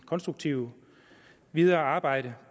konstruktivt videre arbejde